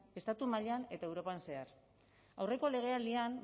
estatu mailan eta europan zehar aurreko legealdian